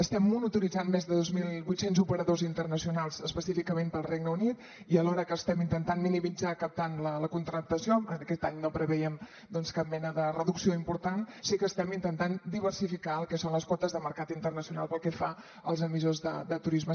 estem monitoritzant més de dos mil vuit cents operadors internacionals específicament per al regne unit i alhora que ho estem intentant minimitzar captant la contractació aquest any no preveiem cap mena de reducció important sí que estem intentant diversificar el que són les quotes de mercat internacional pel que fa als emissors de turisme